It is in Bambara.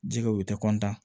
Jikɛw u tɛ